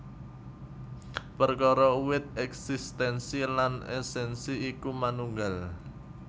Perkara uwit èksistènsi lan èsènsi iku manunggal